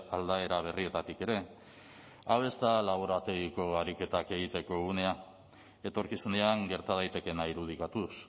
aldaera berrietatik ere hau ez da laborategiko ariketak egiteko unea etorkizunean gerta daitekeena irudikatuz